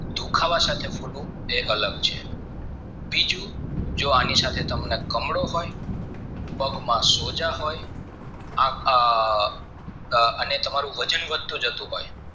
દુખાવા સાથે ફૂલવું એ અલગ છે બીજું જો એની સાથે તમને કમળો પણ અને પગમાં સોજા હોય અને તમારું વજન વધતું જતું હોય